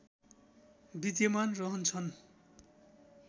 विद्यमान रहन्छन्